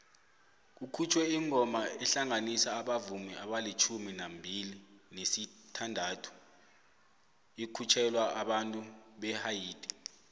kukhutjhwe ingoma ehlanganisa abavumi amalitjhumi amabili nesithandathu ikhutjhelwa abantu behaiti